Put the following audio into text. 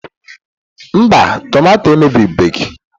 Mba, tọmatọ emebibeghi.